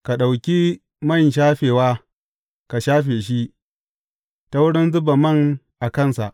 Ka ɗauki man shafewa ka shafe shi, ta wurin zuba man a kansa.